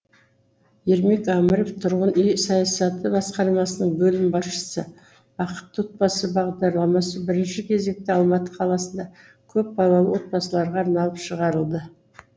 ермек әміров тұрғын үй саясаты басқармасының бөлім басшысы бақытты отбасы бағдарламасы бірінші кезекте алматы қаласында көпбалалы отбасыларға арналып шығарылды